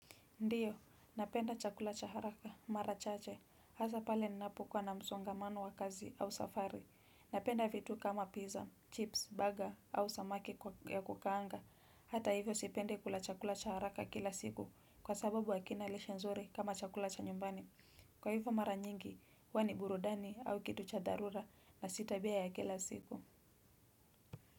Ndiyo napenda chakula cha haraka mara chache hasa pale ninapokuwa na msongamano wa kazi au safari napenda vitu kama pizza, chips, burger au samaki wa kukaanga hata hivo sipendi kula chakula cha haraka kila siku kwa sababu hakina lishe nzuri kama cha nyumbani kwa hivyo mara nyingi, huwa ni burudani au kitu cha dharura na si tabia ya kila siku.